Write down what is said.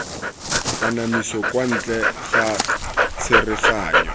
kanamiso kwa ntle ga tsereganyo